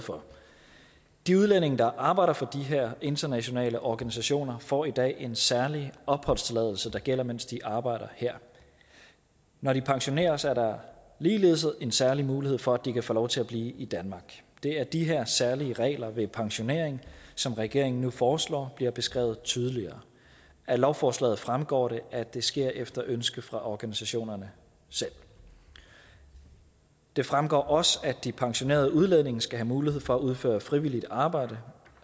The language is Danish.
for de udlændinge der arbejder for de her internationale organisationer får i dag en særlig opholdstilladelse der gælder mens de arbejder her når de pensioneres at der ligeledes en særlig mulighed for at de kan få lov til at blive i danmark det er de her særlige regler ved pensionering som regeringen nu foreslår bliver beskrevet tydeligere af lovforslaget fremgår det at det sker efter ønske fra organisationerne selv det fremgår også at de pensionerede udlændinge skal have mulighed for at udføre frivilligt arbejde